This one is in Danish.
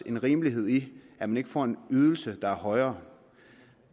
en rimelighed i at man ikke får en ydelse der er højere